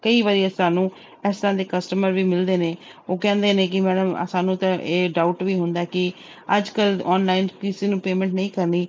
ਕਈ ਵਾਰੀ ਸਾਨੂੰ ਇਸ ਤਰ੍ਹਾਂ ਦੇੇ customer ਵੀ ਮਿਲਦੇ ਨੇ ਉਹ ਕਹਿੰਦੇ ਨੇ ਕਿ madam ਸਾਨੂੰ ਤਾਂ ਇਹ doubt ਵੀ ਹੁੰਦਾ ਕਿ ਅੱਜ ਕੱਲ੍ਹ online ਕਿਸੇ ਨੂੰ payment ਨਹੀਂ ਕਰਨੀ।